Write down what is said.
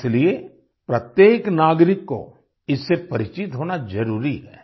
इसलिए प्रत्येक नागरिक को इससे परिचित होना जरुरी है